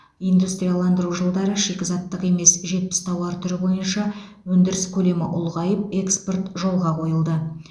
индустрияландыру жылдары шикізаттық емес жетпіс тауар түрі бойынша өндіріс көлемі ұлғайып экспорт жолға қойылды